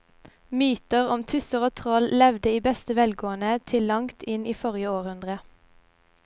Mytene om tusser og troll levde i beste velgående til langt inn i forrige århundre.